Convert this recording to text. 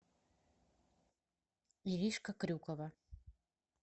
иришка крюкова